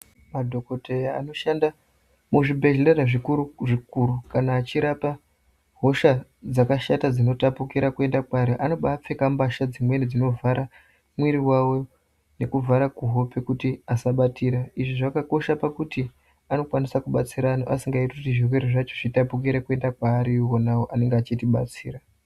Madhokotheya anoshanda muzvibhedhlera zvikuru-zvikuru kana achirapa hosha dzakashata dzinotapukira kuenda kwaari, anobaapfeka mbasha dzimweni dzinovhara mwiri wavo, nekuvhara kuhope kuti asabatira. Izvi zvakakosha pakuti anokwanisa kubatsira antu asikaiti kuti zvirwere zvacho zvitapukire kuita kwaari ionawo anenge achitibatsira.